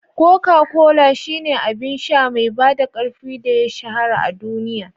Coca-Cola shine abin sha mai bada ƙarfi da ya shahara a duniya.